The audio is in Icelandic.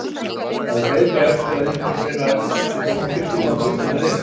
Maður beið bara eftir að einhver þeirra keypti Dómkirkjuna og flytti þar inn.